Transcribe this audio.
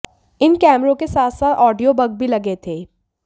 इन कैमरों के साथ साथ ऑडियो बग भी लगे थे